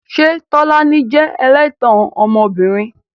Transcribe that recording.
Ṣé Tolani jẹ́ ẹlẹ́tàn ọmọbìnrin?